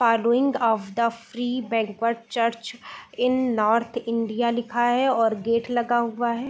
Following of the free banquet church in north India लिखा है और गेट लगा हुआ है।